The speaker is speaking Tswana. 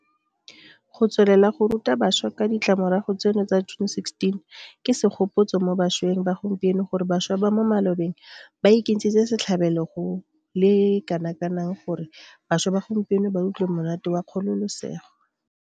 Go tswelela go ruta bašwa ka ditiragalo tseno tsa June 16 ke segopotso mo bašweng ba gompieno gore bašwa ba mo malobeng ba ikentshitse setlhabelo go le kanakang gore bašwa ba gompieno ba utlwe monate wa kgololesego.